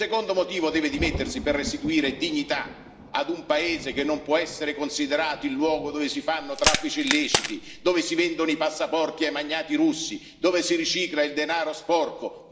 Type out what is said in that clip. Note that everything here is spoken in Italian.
Secondo motivo deve dimettersi per restituire dignità ad un paese che non può essere considerato il luogo dove si fanno traffici illeciti, dove si vendono i passaporti ai magnati russi, dove si ricicla il denaro sporco.